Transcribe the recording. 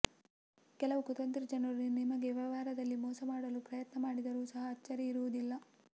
ಕೆಲವು ಕುತಂತ್ರಿ ಜನರು ನಿಮಗೆ ವ್ಯವಹಾರದಲ್ಲಿ ಮೋಸ ಮಾಡಲು ಪ್ರಯತ್ನ ಮಾಡಿದರು ಸಹ ಅಚ್ಚರಿ ಇರುವುದಿಲ್ಲ